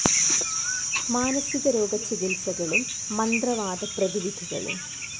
മാനസികരോഗ ചികിത്സകളും. മന്ത്രവാദ പ്രതിവിധികളും